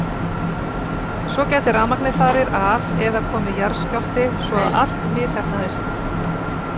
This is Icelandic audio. Svo gæti rafmagnið farið af eða komið jarðskjálfti svo að allt misheppnaðist.